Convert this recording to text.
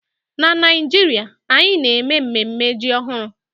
Na Naijiria, anyị na-eme mmemme ji ọhụrụ